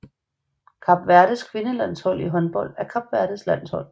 Kap Verdes kvindelandshold i håndbold er Kap Verdes landshold